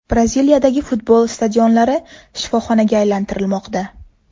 Braziliyadagi futbol stadionlari shifoxonaga aylantirilmoqda .